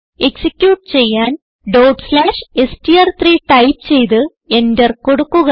execute ചെയ്യാൻ str3 type ചെയ്ത് enter കൊടുക്കുക